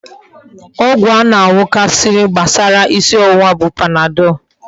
Ọgwụ a na aṅukarị gbasara isi ọwụwa bụ Panadol.